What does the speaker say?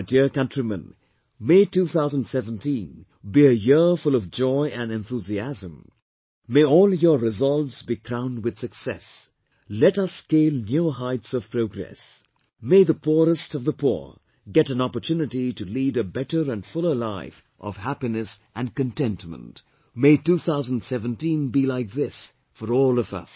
My dear countrymen, may 2017 be a year full of joy and enthusiasm; may all your resolves be crowned with success; let us scale newer heights of progress; may the poorest of the poor get an opportunity to lead a better and fuller life of happiness and contentment; may 2017 be like this for all of us